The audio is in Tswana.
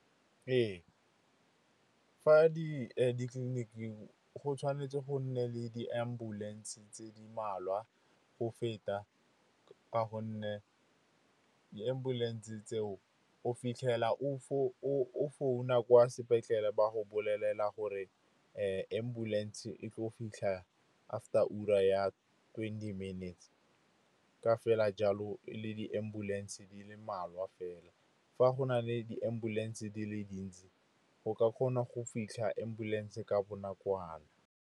Ee, fa ditleliniking go tshwanetse go nne le di-ambulance tse di mmalwa o feta, ka gonne di-ambulance tseo o fitlhela o founa kwa sepetlele, ba go bolelela gore ambulance e tle go fitlha after ura ya twenty minutes. Ka fela jalo e le di-ambulance di le mmalwa fela. Fa go na le di-ambulance di le dintsi, go ka kgona go fitlha ambulance ka bonakwana.